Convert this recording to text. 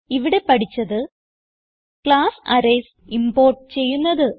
ഇവിടെ പഠിച്ചത് class arrays import ചെയ്യുന്നത്